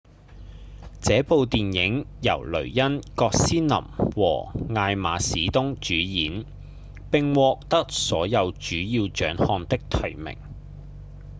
這部電影由雷恩·葛斯林和艾瑪·史東主演並獲得所有主要獎項的提名